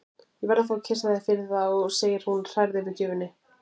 Ég verð að fá að kyssa þig fyrir þá, segir hún hrærð yfir gjöfinni.